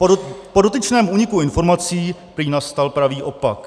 Po dotyčném úniku informací teď nastal pravý opak.